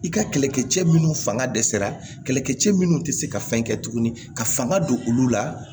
I ka kɛlɛkɛ cɛ minnu fanga dɛsɛra kɛlɛkɛ cɛ minnu tɛ se ka fɛn kɛ tuguni ka fanga don olu la